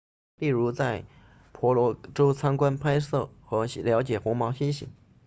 例如在婆罗洲参观拍摄和了解红毛猩猩